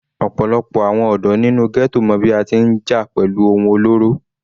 Ọ̀pọ̀lọpọ̀ àwọn ọ̀dọ́ nínú ghetto mọ bí a ti ń jà pẹ̀lú ohun olóró.